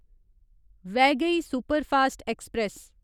Vaigai superfast express